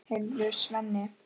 Heyrðu, Svenni.